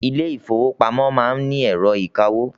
Ilé ìfọwọ́pamo má ń ni ẹ̀rọ ìkawó.